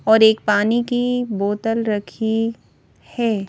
और एक पानी की बोतल रखी है।